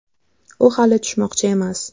U hali tushmoqchi emas.